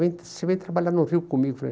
Vem, você vem trabalhar no Rio comigo. Falei